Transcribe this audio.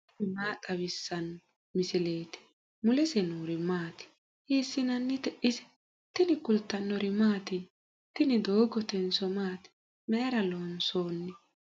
tini maa xawissanno misileeti ? mulese noori maati ? hiissinannite ise ? tini kultannori mattiya? Tinni doogottenso maatti? Mayiira loonsoonni?